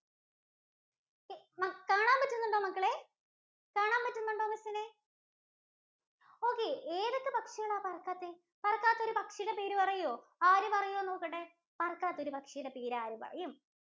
കാണാൻ പറ്റുന്നുണ്ടോ മക്കളെ? കാണാൻ പറ്റുന്നുണ്ടോ മക്കളെ Okay ഏതൊക്കെ പക്ഷികളാ പറക്കാത്തെ? പറക്കാത്ത ഒരു പക്ഷിയുടെ പേര് പറയോ? ആര് പറയും എന്ന് നോക്കട്ടെ? പറക്കാത്ത ഒരു പക്ഷിയുടെ പേര് ആര് പറയും?